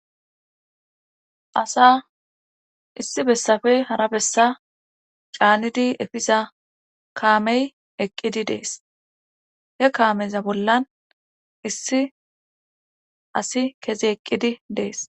asa issi bessappe hara bessa canidi efiza kaamey eqqidi dees he kaameza bollan issi asi kezi eqqidi dees